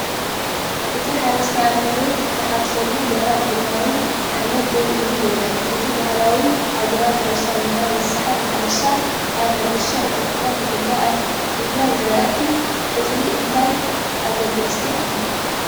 እቲ ሓረስታይ ኣብቲ መሬት ዝሕረሰሉ ደረቕን ቡናዊን ሓመድ ደው ኢሉ ይረአ። እቲ ባህላዊ ኣገባብ ሕርሻ (ብብዕራይ ዝስሓብ ማሕረሻ) ኣብ ሕርሻ ኢትዮጵያ ብፍላይ ኣብ ምፍራይ ዝራእቲ እኽሊ እንታይ ኣገዳስነት ኣለዎ?